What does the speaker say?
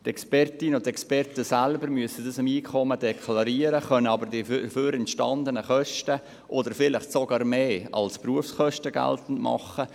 Die Expertinnen und Experten müssen dies bei ihren Einkommen deklarieren und können die entstanden Kosten als Berufskosten geltend machen.